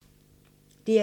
DR2